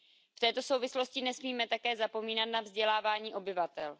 V této souvislosti nesmíme také zapomínat na vzdělávání obyvatel.